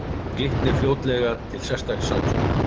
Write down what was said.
Glitnir fljótlega til sérstaks saksóknara